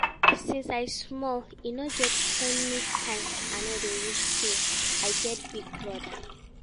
Since I small, e no get anytime I no dey wish say I get big brother